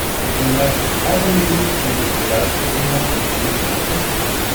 Vendar, kaj pomeni, da je gospodarska klima pri štirih točkah?